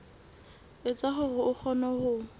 etsa hore o kgone ho